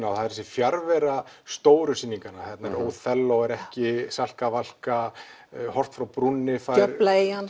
á það er þessi fjarvera stóru sýninganna óþelló er ekki Salka Valka horft frá brúnni fær djöflaeyjan